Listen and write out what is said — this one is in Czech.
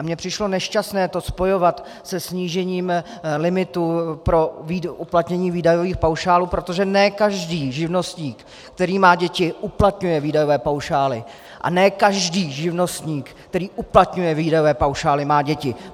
A mně přišlo nešťastné to spojovat se snížením limitů pro uplatnění výdajových paušálů, protože ne každý živnostník, který má děti, uplatňuje výdajové paušály a ne každý živnostník, který uplatňuje výdajové paušály, má děti.